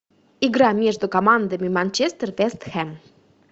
игра между командами манчестер вест хэм